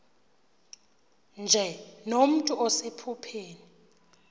nje nomntu osephupheni